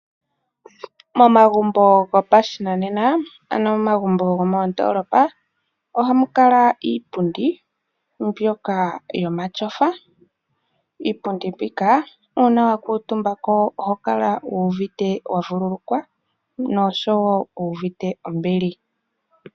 Momagumbo gopashinanena ano momagumbo gomoondoolopa . Ohamu kala iipundi mbyoka yomatyofa. Iipundi mbika uuna wa kuutumba ko oho kala wuuvite wa vululukwa nosho woo wu uvite ombili.